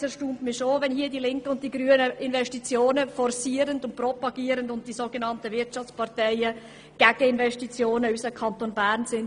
Es erstaunt mich schon, wenn hier die Linken und Grünen Investitionen forcieren und propagieren, während die sogenannten Wirtschaftsparteien gegen Investitionen in unseren Kanton sprechen.